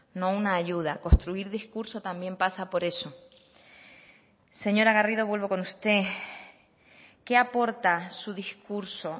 no una ayuda construir discurso también pasa por eso señora garrido vuelvo con usted qué aporta su discurso